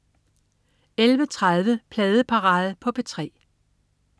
11.30 Pladeparade på P3